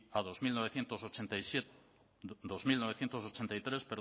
a dos mil novecientos ochenta y siete dos mil novecientos ochenta y tres